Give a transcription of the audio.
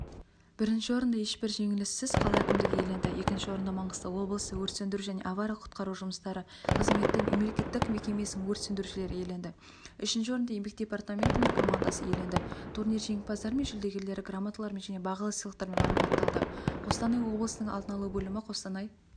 бірінші орынды ешбір жеңіліссіз қала әкімдігі иеленді екінші орынды маңғыстау облысы өрт сөндіру және авариялық-құтқару жұмыстары қызметі мемлекеттік мекемесінің өрт сөндірушілері иеленді үшінші орынды еңбек департаментінің командасы иеленді турнир жеңімпаздары мен жүлдегерлері грамоталармен және бағалы сыйлықтармен марапатталды қостанай облысының алдын алу бөлімі қостанай